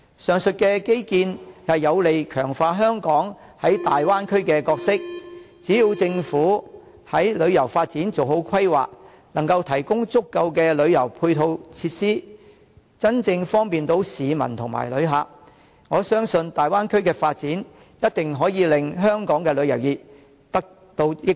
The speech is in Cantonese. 上述基建有利強化香港在大灣區的角色，只要政府在旅遊發展做好規劃，能夠提供足夠的旅遊配套設施，真正方便市民和旅客，我相信大灣區的發展一定可以令香港的旅遊業得到益處。